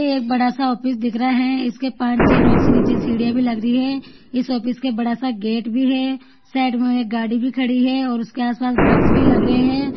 यह एक बड़ा सा ऑफिस दिख रहा है इसके पांच छ: नीचे सीढिया भी लग रही है इस ऑफिस के बड़ा सा गेट भी है साइड में एक गाडी भी खड़ी है और उसके आसपास वृक्ष भी लग रहे है।